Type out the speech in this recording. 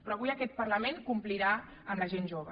però avui aquest parlament complirà amb la gent jove